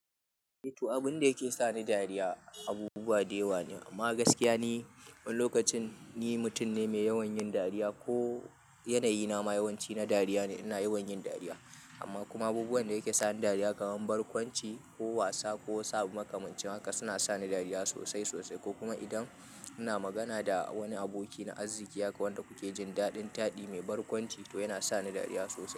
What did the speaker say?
To, abun da yake sa ni dariya abubuwa da yawa ne, amma gaskiya ni wani lokacin ni mutum ne mai yawan yin dariya ko yanayi na ma yawanci na dariya ne, ina yawan yin dariya. Amma kuma abubuwan da yake sa ni dariya kamar barkwanci ko wasa ko saba makamancin haka suna sa ni dariya sosai sosai, ko kuma idan ina magana da wani aboki na arziki haka wanda kuke jin daɗin taɗi mai barkwanci to yana sa ni dariya sosai.